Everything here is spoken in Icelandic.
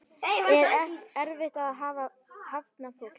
Er erfitt að hafna fólki?